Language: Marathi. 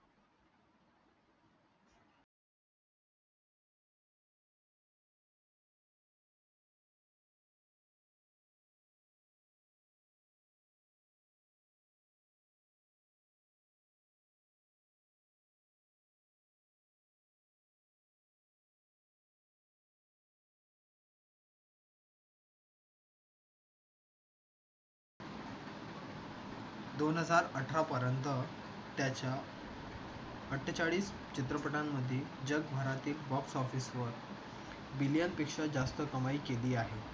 दोन हजार अठरापर्यंत त्याच्या अट्ठेचाळीस चित्रपटांमध्ये जगभरातील बॉक्स ऑफिसवर मिलियन पेक्षा जास्त कमाई केली आहे.